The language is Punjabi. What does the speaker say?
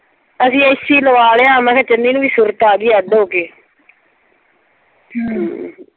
ਅਸੀਂ ਏ ਸੀ ਲਵਾ ਲਿਆ। ਮੈਂ ਕਿਹਾ ਚੰਨੀ ਨੂੰ ਵੀ ਸੁਰਤ ਆ ਗਈ ਅੱਡ ਹੋ ਕੇ ਹਮ